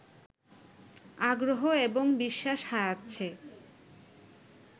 আগ্রহ এবং বিশ্বাস হারাচ্ছে